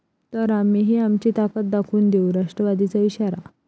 ..तर आम्हीही आमची ताकद दाखवून देऊ, राष्ट्रवादीचा इशारा